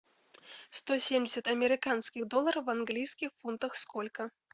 сто семьдесят американских долларов в английских фунтах сколько